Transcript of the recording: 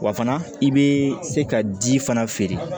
Wa fana i bɛ se ka ji fana feere